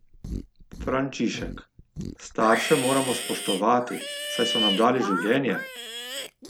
Frančišek: "Starše moramo spoštovati, saj so nam dali življenje.